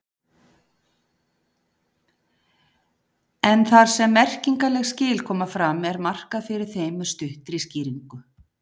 En þar sem merkingarleg skil koma fram er markað fyrir þeim með stuttri skýringu.